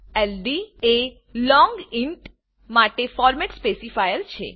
ld એ long int માટે format specifier છે